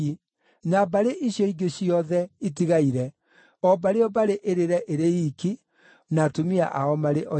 na mbarĩ icio ingĩ ciothe itigaire o mbarĩ o mbarĩ ĩrĩre ĩrĩ iiki, na atumia ao marĩ oiki.